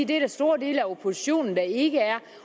der er store dele af oppositionen der ikke er